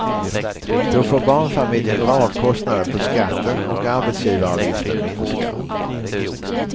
Då får barnfamiljen dra av kostnaden på skatten och arbetsgivaravgiften minskar.